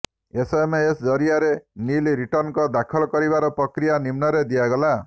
SMS ଜରିଆରେ nil return ଦାଖଲ କରିବାର ପ୍ରକ୍ରିୟା ନିମ୍ନରେ ଦିଆଗଲା